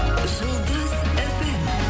жұлдыз фм